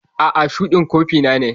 A'a, shuɗin kofi na ne.